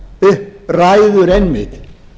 upp ræður einmitt